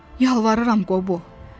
Yalvarıram, Qobo.